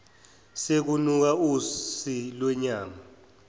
sekunuka usi lwenyama